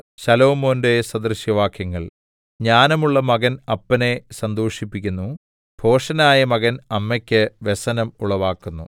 ശലോമോന്റെ സദൃശവാക്യങ്ങൾ ജ്ഞാനമുള്ള മകൻ അപ്പനെ സന്തോഷിപ്പിക്കുന്നു ഭോഷനായ മകൻ അമ്മയ്ക്ക് വ്യസനം ഉളവാക്കുന്നു